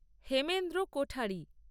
Hemendra Kothari